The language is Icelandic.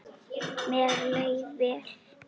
Mér leið vel.